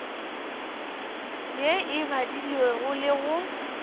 ye e badilwego le go